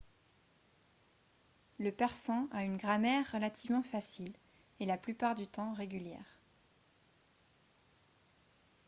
le persan a une grammaire relativement facile et la plupart du temps régulière